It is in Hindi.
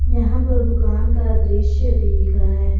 यहां प दुकान का दृश्य दिख रहा है।